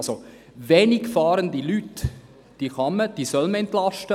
Also: Wenig fahrende Leute kann und soll man entlasten.